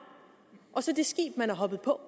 og så det skib man er hoppet på